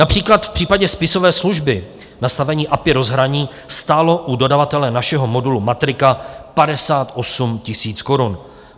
Například v případě spisové služby nastavení API rozhraní stálo u dodavatele našeho modulu Matrika 58 000 korun.